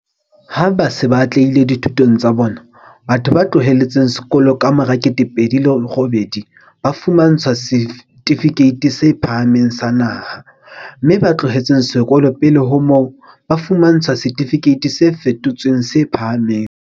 Ha ba se ba atlehile dithutong tsa bona, batho ba tlohetseng sekolo ka mora 2008 ba fumantshwa Setifikeiti se Phahameng sa Naha, mme ba tlohetseng sekolo pele ho moo, ba fumantshwa Setifikeiti se Fetotsweng se Phahameng.